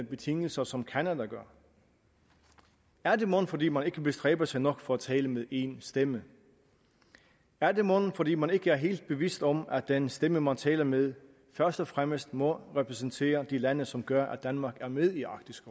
betingelser som canada gør er det mon fordi man ikke bestræber sig nok for at tale med én stemme er det mon fordi man ikke er helt bevidst om at den stemme man taler med først og fremmest må repræsentere de lande som gør at danmark er med i arktisk